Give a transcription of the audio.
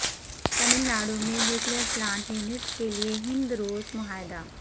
ٹاملناڈو میں nuclear plant units کے لئے ہند روس معاہدہ